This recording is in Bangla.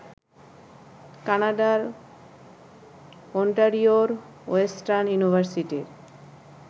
কানাডার ওন্টারিওর ওয়েস্টার্ন ইউনিভার্সিটির